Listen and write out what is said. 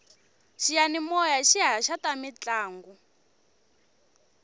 xiyanimoya xi haxa ta mintlangu